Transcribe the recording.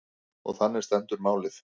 Og þannig stendur málið.